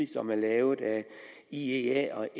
som er lavet af iea og